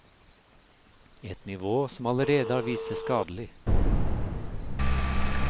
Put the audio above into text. Et nivå som allerede har vist seg skadelig.